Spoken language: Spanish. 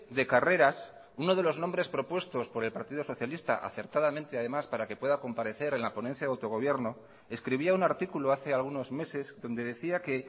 de carreras uno de los nombres propuestos por el partido socialista acertadamente además para que pueda comparecer en la ponencia de autogobierno escribía un artículo hace algunos meses donde decía que